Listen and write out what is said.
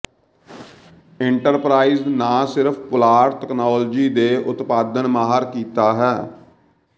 enterprise ਨਾ ਸਿਰਫ ਪੁਲਾੜ ਤਕਨਾਲੋਜੀ ਦੇ ਉਤਪਾਦਨ ਮਾਹਰ ਕੀਤਾ ਹੈ